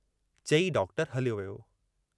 चई डॉक्टर हलियो वियो।